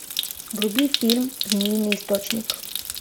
вруби фильм змеиный источник